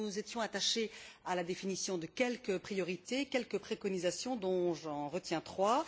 Nous nous étions donc attachés à la définition de quelques priorités, de quelques préconisations dont j'en retiens trois.